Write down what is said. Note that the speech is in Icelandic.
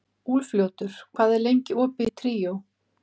Úlfljótur, hvað er lengi opið í Tríó?